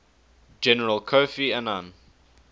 general kofi annan